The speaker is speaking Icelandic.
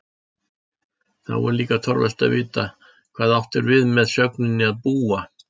Þá er líka torvelt að vita hvað átt er við með sögninni að búa?